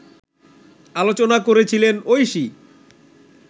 আলোচনা করেছিলেন ঐশী